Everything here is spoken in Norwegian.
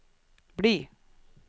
bli